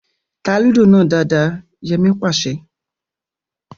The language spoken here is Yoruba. Tá Lúdò náà dáadáa! Yẹmí pàṣẹ